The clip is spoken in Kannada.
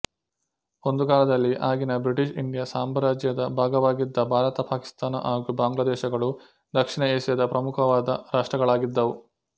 ಒಂದು ಕಾಲದಲ್ಲಿ ಆಗಿನ ಬ್ರಿಟಿಷ್ ಇಂಡಿಯಾ ಸಾಮ್ರಾಜ್ಯದ ಭಾಗವಾಗಿದ್ದ ಭಾರತ ಪಾಕಿಸ್ತಾನ ಹಾಗು ಬಾಂಗ್ಲಾದೇಶಗಳು ದಕ್ಷಿಣ ಏಷ್ಯಾದ ಪ್ರಮುಖವಾದ ರಾಷ್ಟ್ರಗಳಾಗಿದ್ದವು